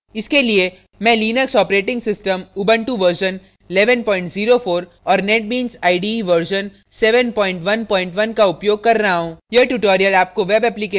इसके लिए मैं लिनक्स operating system उबुंटू 1104 और netbeans ide 711 का उपयोग कर रहा हूँ